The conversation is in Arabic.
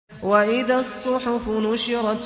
وَإِذَا الصُّحُفُ نُشِرَتْ